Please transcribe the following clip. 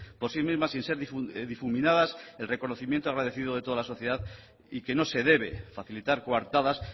por sí mismas sin ser difuminadas el reconocimiento agradecido de toda la sociedad y que no se debe facilitar coartadas